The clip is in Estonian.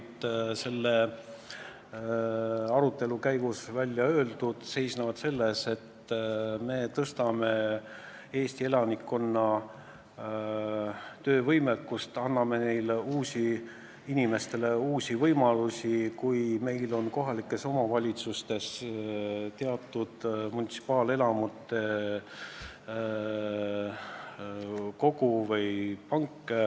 Vabandust, ma praegu ei leia tekstist konkreetset kohta, kus see on välja toodud, aga arutelu käigus sai välja öeldud mõtted, et me suurendame Eesti elanikkonna tööpanust, anname inimestele uusi võimalusi, kui meil on kohalikes omavalitsustes teatud munitsipaalelamute kogum.